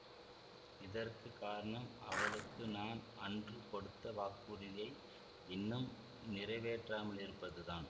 இதற்கு காரணம் அவளுக்கு நான் அன்று கொடுத்த வாக்குறுதியை இன்னும் நிறைவேற்றாமலிருப்பதுதான்